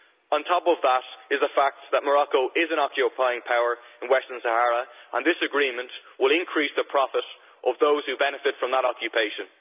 On top of that is the fact that Morocco is an occupying power in Western Sahara, and this agreement will increase the profits of those who benefit from that occupation.